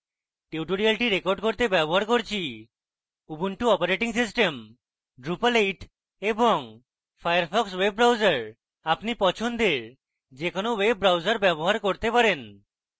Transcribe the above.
tutorial record করতে ব্যবহার করছি উবুন্টু অপারেটিং সিস্টেম drupal 8 এবং ফায়ারফক্স ওয়েব ব্রাউজার আপনি পছন্দের যে কোনো ওয়েব ব্রাউজার ব্যবহার করতে পারেন